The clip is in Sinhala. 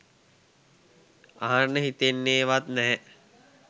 අහන්න හිතන්නේ වත් නෑ.